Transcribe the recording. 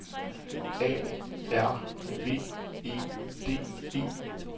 A R V E D E